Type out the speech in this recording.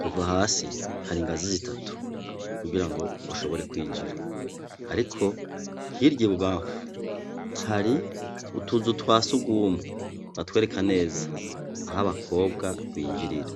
Kuva hasi hari ingazi zitatu kugirango ushobore kwinjira. Ariko hirya ibubamfu, hari utuzu twa sugumwe batwereka neza aho abakobwa binjirira.